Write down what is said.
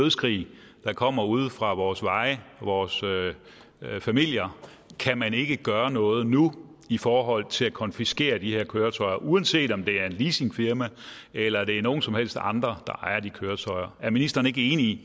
nødskrig der kommer ude fra vores veje vores familier kan man ikke gøre noget nu i forhold til at konfiskere de her køretøjer uanset om det er et leasingfirma eller det er nogen som helst andre der ejer de køretøjer er ministeren ikke enig i